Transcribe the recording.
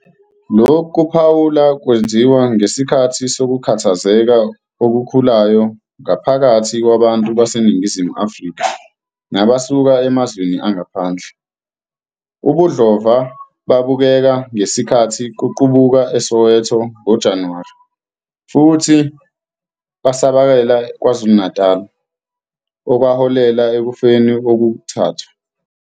Lokhu kuphawula kwenziwa ngesikhathi sokukhathazeka okukhulayo phakathi kwabantu baseNingizimu Afrika nabasuka emazweni angaphandle, ubudlova babukeka ngesikhathi kuqubuka eSoweto ngoJanuwari futhi basakazekela eKwaZulu-Natal, okwaholela ekufeni okuthathu.